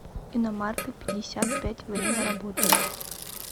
иномарка пятьдесят пять время работы